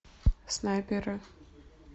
снайперы